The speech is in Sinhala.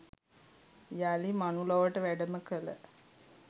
යළි මනුලොවට වැඩම කළ